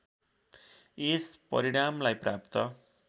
यस परिणामलाई प्राप्त